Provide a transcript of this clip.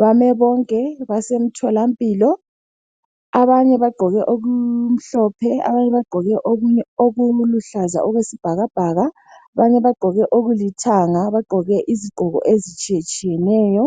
bame bonke, basemtholampilo abanye bagqoke okumhlophe, abanye bagqoke okuluhlaza okwesibhakabhaka, abanye bagqoke okulithanga, bagqoke izigqoko ezitshiyetshiyeneyo.